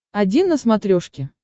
один на смотрешке